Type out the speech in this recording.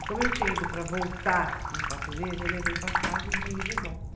E como eu tinha ido para voltar em quatro meses, eu levei passagem de ida e volta.